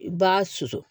I b'a susu